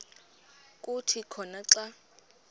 kuthi khona xa